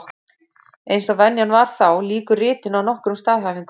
Eins og venjan var þá, lýkur ritinu á nokkrum staðhæfingum.